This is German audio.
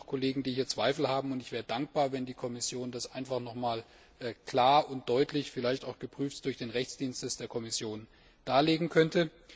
Es gibt immer noch Kollegen, die hier Zweifel haben, und ich wäre dankbar, wenn die Kommission das einfach noch einmal klar und deutlich vielleicht auch geprüft durch den Rechtsdienst der Kommission darlegen könnte.